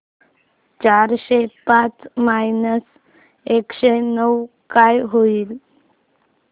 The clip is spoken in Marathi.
चारशे पाच मायनस एकशे नऊ काय होईल